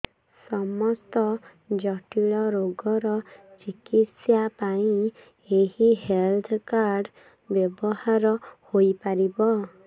ସମସ୍ତ ଜଟିଳ ରୋଗର ଚିକିତ୍ସା ପାଇଁ ଏହି ହେଲ୍ଥ କାର୍ଡ ବ୍ୟବହାର ହୋଇପାରିବ